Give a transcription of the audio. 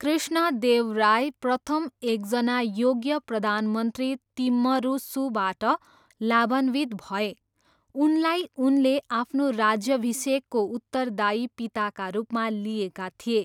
कृष्णदेवराय प्रथम एकजना योग्य प्रधानमन्त्री तिम्मरुसुबाट लाभान्वित भए। उनलाई उनले आफ्नो राज्याभिषेकको उत्तरदायी पिताका रूपमा लिएका थिए।